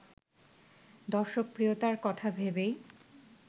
দর্শকপ্রিয়তার কথা ভেবেই